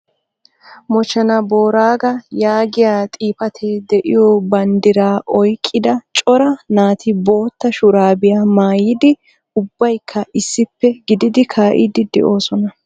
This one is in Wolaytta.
" Moochena Booraaga " yaagiya xifaate de'iyo banddira oyqqida cora naati bootta shurabbiyaa maayyidi ubbaykka issippe gididi kaa'idi de'oosona .